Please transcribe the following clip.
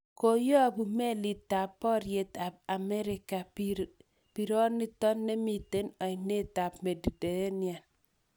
Koyopu melitap poriet sp smerica pironiton namiten oinet ap Mediterranea.